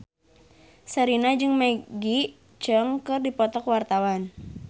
Sherina jeung Maggie Cheung keur dipoto ku wartawan